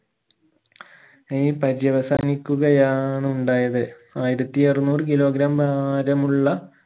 നൈ പര്യവസാനിക്കുകയാണുണ്ടായത് ആയിരത്തി അറുന്നൂർ kilogram ഭാരമുള്ള